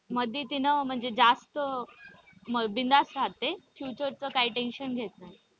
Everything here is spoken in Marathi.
मध्ये तीन म्हणजे जास्त बिनधास्त रहाते future च काही tension घेत नाही.